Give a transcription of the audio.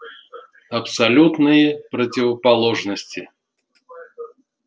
абсолютные противоположности